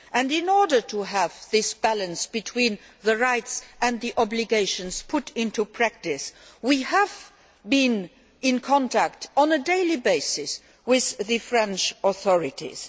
In order to have this balance between rights and obligations put into practice, we have been in contact on a daily basis with the French authorities.